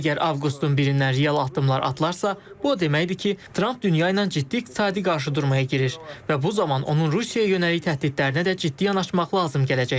Əgər avqustun birindən real addımlar atılarsa, bu o deməkdir ki, Tramp dünya ilə ciddi iqtisadi qarşıdurmaya girir və bu zaman onun Rusiyaya yönəlik təhdidlərinə də ciddi yanaşmaq lazım gələcək.